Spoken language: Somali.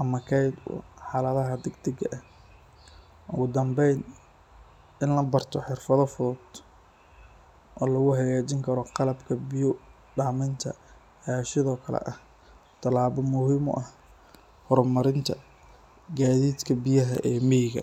ama keed xaladaha dagdag ah, in labarto xirfada fudud, hor marinta gadiidka biyaha.